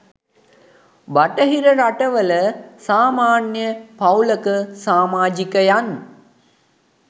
බටහිර රටවල සමාන්‍ය පවූලක සමාජිකයන්